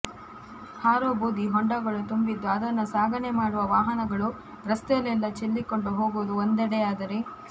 ಹಾರೋ ಬೂದಿ ಹೊಂಡಗಳು ತುಂಬಿದ್ದು ಅದನ್ನ ಸಾಗಣೆ ಮಾಡುವ ವಾಹನಗಳು ರಸ್ತೆಯಲ್ಲೆಲ್ಲಾ ಚೆಲ್ಲಿಕೊಂಡು ಹೋಗುವುದು ಒಂದೆಡೆಯಾದರೆ